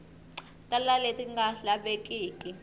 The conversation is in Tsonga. tala hi leti nga lavekiki